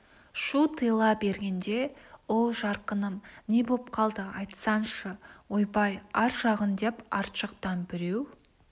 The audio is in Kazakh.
шу тыйыла бергенде оу жарқыным не боп қалды айтсаңшы ойбай ар жағын деп арт жақтан біреу